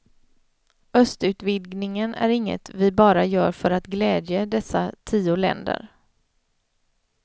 Östutvidgningen är inget vi bara gör för att glädje dessa tio länder.